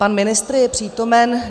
Pan ministr je přítomen.